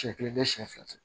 Siɲɛ kelen tɛ siɲɛ fila tɛ